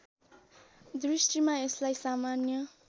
दृष्टिमा यसलाई सामान्य